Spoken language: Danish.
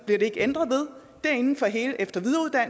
der ikke ændret ved er inden for hele efter